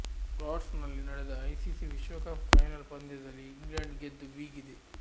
Lord's ನಲ್ಲಿ ನಡೆದ ICC ವಿಶ್ವಕಪ್ ಫೈನಲ್ ಪಂದ್ಯದಲ್ಲಿ ಇಂಗ್ಲೆಂಡ್ ಗೆದ್ದು ಬೀಗಿದೆ